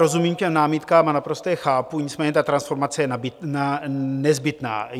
Rozumím těm námitkám a naprosto je chápu, nicméně ta transformace je nezbytná.